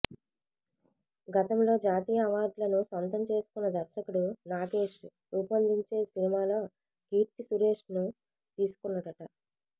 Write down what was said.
గతంలో జాతీయ అవార్డులను సొంతం చేసుకొన్న దర్శకుడు నాగేష్ రూపొందించే సినిమాలో కీర్తీ సురేష్ను తీసుకొన్నాడట